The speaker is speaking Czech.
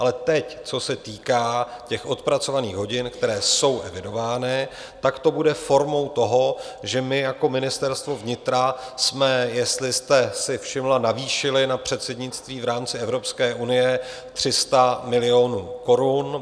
Ale teď co se týká těch odpracovaných hodin, které jsou evidovány, tak to bude formou toho, že my jako Ministerstvo vnitra jsme, jestli jste si všimla, navýšili na předsednictví v rámci Evropské unie 300 milionů korun.